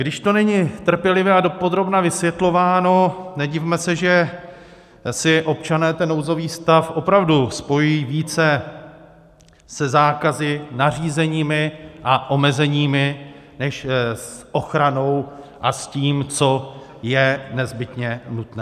Když to není trpělivě a dopodrobna vysvětlováno, nedivme se, že si občané ten nouzový stav opravdu spojí více se zákazy, nařízeními a omezeními než s ochranou a s tím, co je nezbytně nutné.